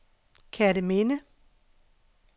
Kerteminde